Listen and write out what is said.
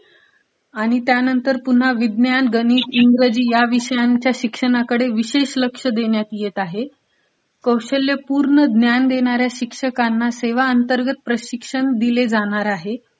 आणि त्यानंतर पुन्हा विज्ञान, गणित, इंग्रजी ह्या विषयांच्या शिक्षणाकडे विशेष लक्ष देण्यात येत आहे. कौशल्यपूर्ण ज्ञान देणाऱ्या शिक्षकांना सेवा अंतर्गत प्रशिश्रण दिले जाणार आहे.